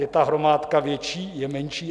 Je ta hromádka větší, je menší?